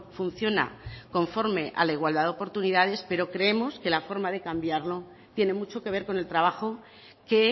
funciona conforme a la igualdad de oportunidades pero creemos que la forma de cambiarlo tiene mucho que ver con el trabajo que